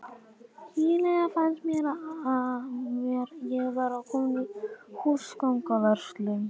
Eiginlega fannst mér ég vera komin í húsgagnaverslun.